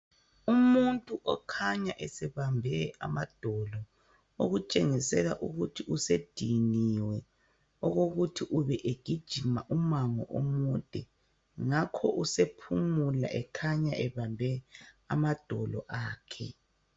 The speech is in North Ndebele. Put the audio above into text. Umuntu okhanya esebambe amadolo okutshengisela ukuthi usediniwe okukuthi ubegijima umango omude ngakho usephumula ekhanya ebambe amadolo akhe.